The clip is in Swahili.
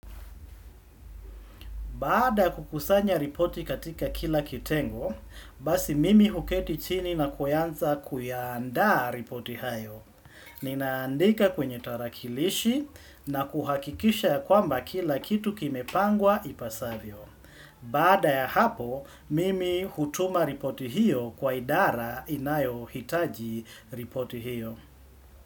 Baada ya kukusanya ripoti katika kila kitengo, basi mimi huketi chini na kuyanza kuyaanda ripoti hayo. Ninaandika kwenye tarakilishi na kuhakikisha ya kwamba kila kitu kimepangwa ipasavyo. Baada ya hapo, mimi hutuma ripoti hiyo kwa idara inayohitaji ripoti hiyo.